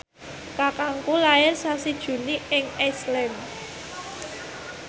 kakangku lair sasi Juni ing Iceland